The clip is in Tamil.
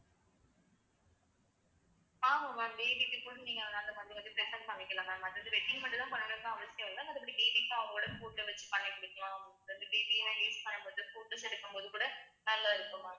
ஆமா ma'am baby க்கு கூட நீங்க அந்த அந்த present பண்ணிக்கலாம் ma'am அது வந்து wedding மட்டும்தான் பண்ணணும்னு அவசியம் இல்லை நம்ப இப்படி babies க்கு அவங்களோட photo வச்சு பண்ணி கொடுக்கலாம் அப்பறம் வந்து baby எல்லாம் பண்ணும் போது photos எடுக்கும்போது கூட நல்லா இருக்கும் ma'am